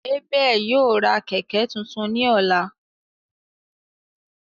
Abel ​​yóò ra kẹkẹ tuntun ni ọla.